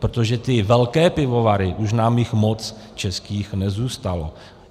Protože ty velké pivovary, už nám jich moc českých nezůstalo.